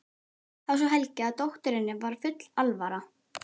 Þá sá Helgi að dótturinni var full alvara.